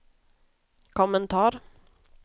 kommentar